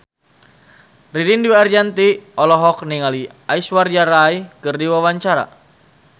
Ririn Dwi Ariyanti olohok ningali Aishwarya Rai keur diwawancara